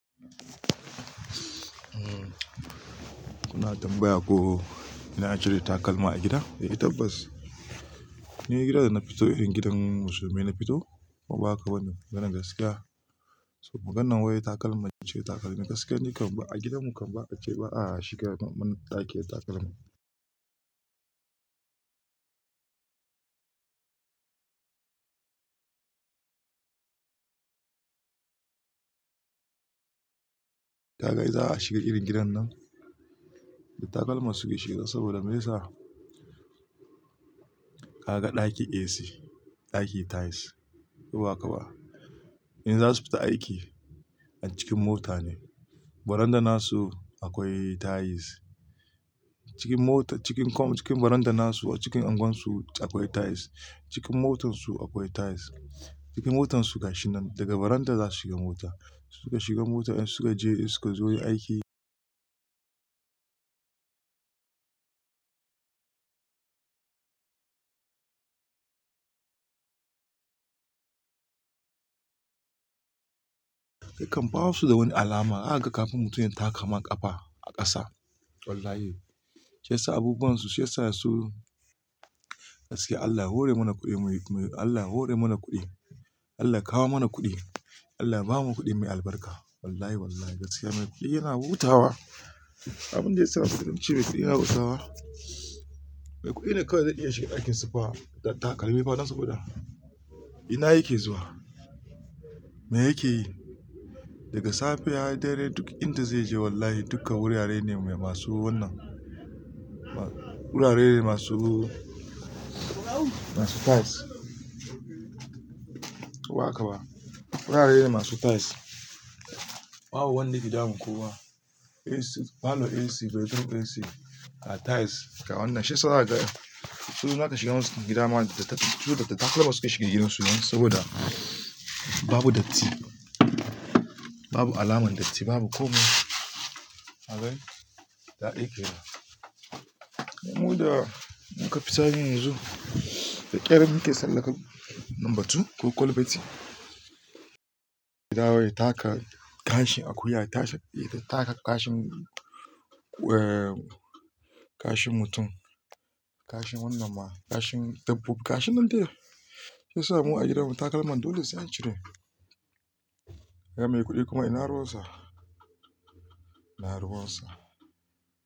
Kuna tambaya ko ina ajiye takalma a gida? Eh tabbas. Ni gidan da na fito in gidan su mai na fito kuma ba haka bane mana gaskiya. So maganan waye takalma ce takalma. Gaskiya ne kam ba a gidan mu kam ba a ce ba a shiga man ɗaki ya takalma. Ka ga idan za a shiga irin gidan nan da takalma suke shiga saboda me yasa? Ka ga ɗaki AC, ɗaki tiles ko ba haka ba. In za su fita aiki a cikin mota ne. Baranda nasu akwai tiles. Cikin mota cikin kom cikin baranda nasu cikin unguwar su akwai tiles. Cikin motar su akwai tiles. Cikin motar su gashin nan daga baranda za su shiga mota. Suka shiga mota in suka je in suka zo yi aiki. Sai kam ba su da wani alama aka ga kafin mutum ya taka man kafa a ƙasa. Wallahi. Shi yasa abubuwan su shi yasa su gaskiya Allah hore mana kuɗi muyi Allah hore mana kuɗi. Allah kawo mana kuɗi. Allah bamu kuɗi mai albarka. Wallahi wallahi gaskiya mai kuɗi yana hutawa. Abun da ya saka kuɗin ce mai kuɗi ya hutawa. Mai kuɗi ne kawai zai iya shiga ɗakin spa da takalma fadan su kuɗa. Ina yake zuwa? Me yake yi? Daga safiya dare duk inda zai je wallahi duka wurare ne mai masu wannan. Wurare ne masu tiles. Ko ba haka ba. Wurare ne masu tiles. Ba wani gida mun koma AC falo AC, bedroom AC a tiles ga wannan. Shi yasa za ta tsunuwa ta shiga gidan man da ta tsunuwa ta takalma suke shiga gidansu nan saboda babu datti. Babu alamar datti babu komai. Kagai? Da aiki da. Mu da mun ka fita yin yanzu da ƙerar muke tsallaka lambatu ko kwalbati. Gida wai taka gashin akuya ta taka gashin gashin mutum gashin wannan ma gashin dabbobi gashin nan dai. Shi yasa mu a gidan mu takalman dole sai a cire. Gidan mai kuɗi kuma ina ruwansa. Ina ruwansa.